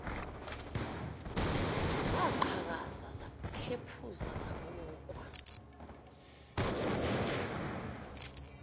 zaqhakaza zakhephuzela zabukwa